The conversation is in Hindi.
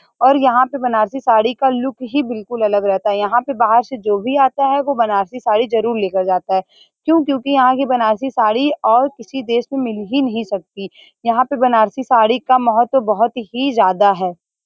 और यहाँ पे बनारसी साड़ी का लुक ही बिल्कुल अलग रहता है यहाँ पर बाहर से जो भी आता है वो बनारसी साड़ी जरूर ले कर जाता है क्यू क्यूकी यहाँ की बनारसी साड़ी और किसी देश में मिल ही नहीं सकती यहाँ पे बनारसी साड़ी का महत्व बहुत ही ज्यादा है|